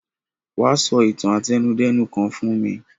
Wa so itan àtẹnudẹ́nu kan fún mi